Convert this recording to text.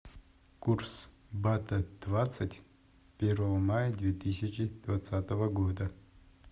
курс бата двадцать первого мая две тысячи двадцатого года